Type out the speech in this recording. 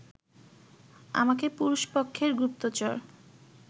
আমাকে পুরুষপক্ষের গুপ্তচর